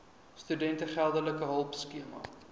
studente geldelike hulpskema